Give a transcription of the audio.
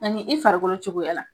Ani i farikolo cogoyala.